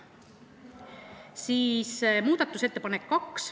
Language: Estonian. Reformierakonna teine muudatusettepanek.